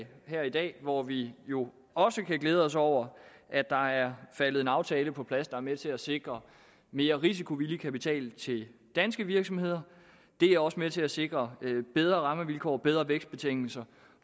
her i dag hvor vi jo også kan glæde os over at der er faldet en aftale på plads der er med til at sikre mere risikovillig kapital til danske virksomheder det er også med til at sikre bedre rammevilkår og bedre vækstbetingelser